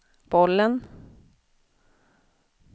bollen